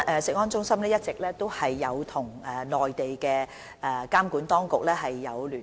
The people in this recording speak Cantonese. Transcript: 食安中心一直與內地監管當局保持聯絡。